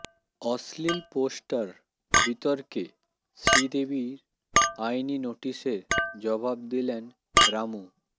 অশ্লীল পোস্টার বিতর্কে শ্রীদেবীর আইনি নোটিসের জবাব দিলেন রামু